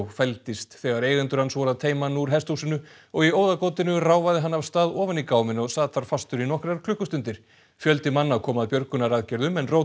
fældist þegar eigendur hans voru að teyma hann úr hesthúsinu og í óðagotinu ráfaði hann af stað ofan í gáminn og sat þar fastur í nokkrar klukkustundir fjöldi manna kom að björgunaraðgerðum en